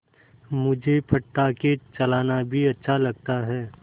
मुझे पटाखे चलाना भी अच्छा लगता है